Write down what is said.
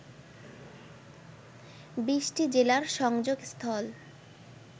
২০টি জেলার সংযোগস্থল